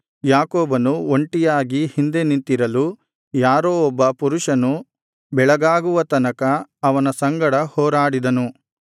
ಯಾಕೋಬನು ಒಂಟಿಯಾಗಿ ಹಿಂದೆ ನಿಂತಿರಲು ಯಾರೋ ಒಬ್ಬ ಪುರುಷನು ಬೆಳಗಾಗುವ ತನಕ ಅವನ ಸಂಗಡ ಹೋರಾಡಿದನು